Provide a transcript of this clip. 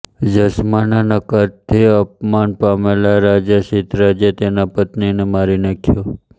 જસ્માના નકારથી અપમાન પામેલા રાજા સિદ્ધરાજે તેના પતિને મારી નાખ્યો